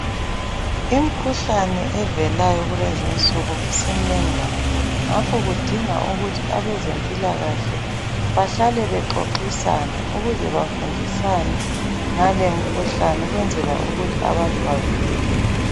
Imkhuhlane evelayo kulezi insuku isimnengi kakhulu. Ngakho kudinga ukuthi abezempilakahle bahlale bexoxisana ukuze bafundisane ngale mkhuhlane ukwenzela ukuthi abantu bavikeleke.